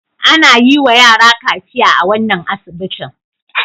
Ana yiwa yara kaciya a wannan asibitin.